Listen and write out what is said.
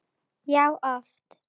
Já, oft!